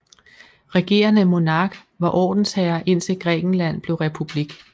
Regerende monark var ordensherre indtil Grækenland blev republik